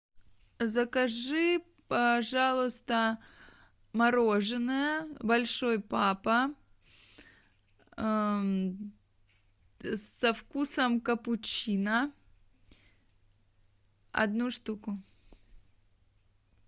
закажи пожалуйста мороженое большой папа со вкусом капучино одну штуку